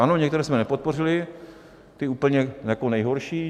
Ano, některé jsme nepodpořili, ty úplně nejhorší.